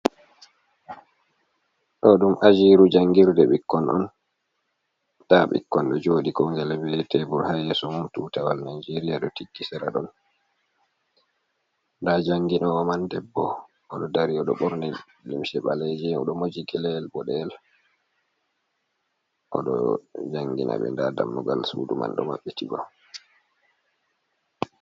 Ɗo ɗum ajiru jangirde ɓikkoon nɗa ɓikkon ɗo joɗi kongele bi ye teɗum tebur ha yeso mum tutawal naigeria do tikki sera ɗon ɗa janginowo man debbo odo dari odo borni limse ɓaleje o ɗo mojigele’el bo de’el oɗo jangina ɗe nɗa dammugal sudu man ɗo maɓɓiti bo.